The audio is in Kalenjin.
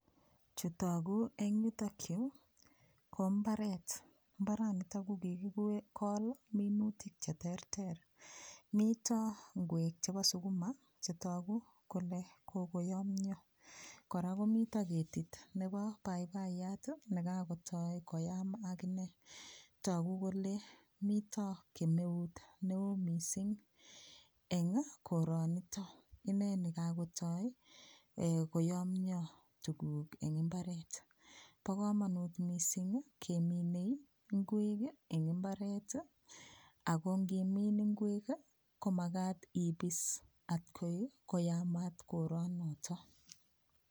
Chitogu en yutoyu ko mbaret, mbaranito kokikikol minutik cheterter mito nguek chebo sukuma chetogu kole kokoymyo kora komito ketit nebo paipaiyat nekakotoi koyamat akine togu kole mito kemeut neo mising eng koronito ineni kakotoi koyomio tuguuk eng imbaret. Po komonut mising keminei nguek eng imbaret ako ngimin nguek komakat ibis atkoyamat koronoto.